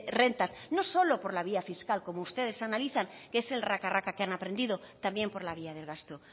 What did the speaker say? rentas no solo por la vía fiscal como ustedes analizan que es el raca raca que han aprendido también por la vía del gasto